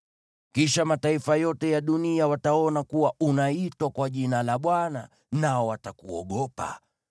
Kisha mataifa yote ya dunia wataona kuwa unaitwa kwa jina la Bwana , nao watakuogopa.